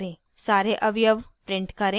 * सारे अवयव print करें